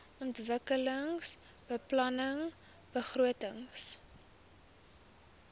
ontwikkelingsbeplanningbegrotings